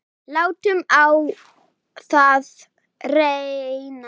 Látum á það reyna.